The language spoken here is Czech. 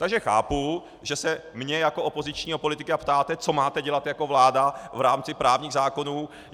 Takže chápu, že se mě jako opozičního politika ptáte, co máte dělat jako vláda v rámci právních zákonů.